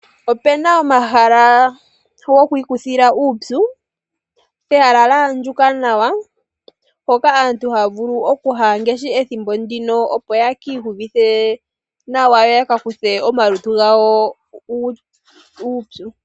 Opuna omahala gokwiikuthila uupyu, pehala lya andjuka nawa, mpoka aantu haa vulu okuya ngaashi ethimbo ndino, opo ye kiiyuvithe na wa yo yaka kuthe omalutu gawo uupyu.